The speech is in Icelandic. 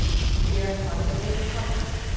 Björn valdi fyrri kostinn.